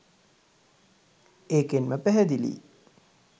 ඒකෙන්ම පැහැදිලියි